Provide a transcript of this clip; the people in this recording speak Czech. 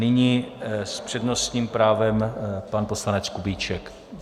Nyní s přednostním právem pan poslanec Kubíček.